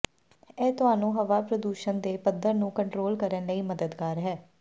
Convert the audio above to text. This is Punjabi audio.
ਇਹ ਤੁਹਾਨੂੰ ਹਵਾ ਪ੍ਰਦੂਸ਼ਣ ਦੇ ਪੱਧਰ ਨੂੰ ਕੰਟਰੋਲ ਕਰਨ ਲਈ ਮੱਦਦਗਾਰ ਹੈ